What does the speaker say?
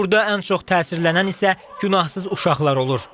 Burda ən çox təsirlənən isə günahsız uşaqlar olur.